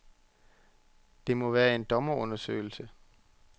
Det må være en dommerundersøgelse.